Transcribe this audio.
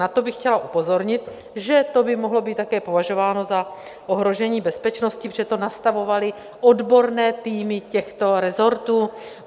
Na to bych chtěla upozornit, že to by mohlo být také považováno za ohrožení bezpečnosti, protože to nastavovaly odborné týmy těchto resortů.